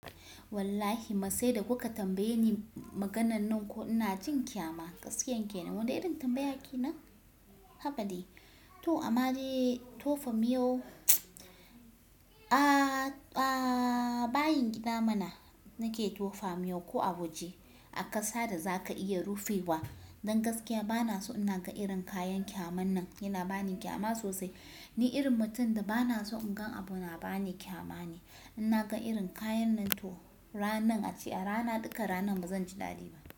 Wallahi ma sai da kuka tambaye ni maganan nan ko ina jin ƙyama gaskiyan kenan. Wane irin tambaya kenan? Haba dai. To amma dai tofa miyo a-a bayin gida mana nake tofa miyau ko a waje a ƙasa da zaka iya rufewa. Dan gaskiya bana so in na ga irin kayan ƙyaman nan yana ba ni ƙyama sosai. Ni irin mutum da bana so in gan abu na ba ni ƙyama ne. In na ga irin kayan nan to ranan a ce a rana duka ranan bazan ji daɗi ba.